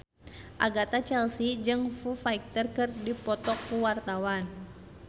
Agatha Chelsea jeung Foo Fighter keur dipoto ku wartawan